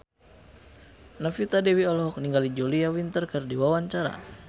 Novita Dewi olohok ningali Julia Winter keur diwawancara